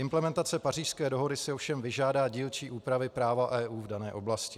Implementace Pařížské dohody si ovšem vyžádá dílčí úpravy práva EU v dané oblasti.